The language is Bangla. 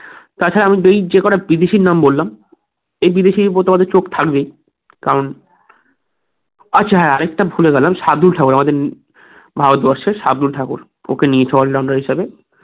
তার পরে আমি যেই যেকটা বিদেশির নাম বললাম সে বিদেশির উপর তো চোখ থাকবেই কারণ আচ্ছা হ্যাঁ আরেকটা ভুলে গেলাম শার্দুল ঠাকুর ভারতবর্ষের শার্দুল ঠাকুর ওকে নিয়েছে all rounder হিসেবে